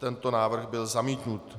Tento návrh byl zamítnut.